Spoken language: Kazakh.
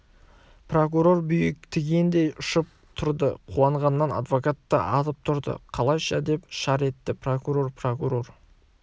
прокурор бүйі тигендей ұшып тұрды қуанғаннан адвокат та атып тұрды қалайша деп шар етті прокурор прокурор